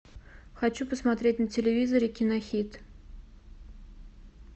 хочу посмотреть на телевизоре кинохит